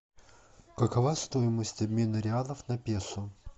какова стоимость обмена реалов на песо